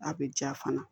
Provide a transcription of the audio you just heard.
A bɛ ja fana